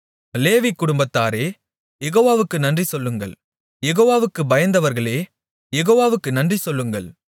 லேவி குடும்பத்தாரே யெகோவாவுக்கு நன்றிசொல்லுங்கள் யெகோவாவுக்குப் பயந்தவர்களே யெகோவாவுக்கு நன்றிசொல்லுங்கள்